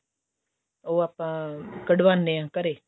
ਉਹ ਆਪਾਂ ਕਢਵਾਉਣ ਆ ਘਰੇ